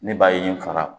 Ne b'a ye n faga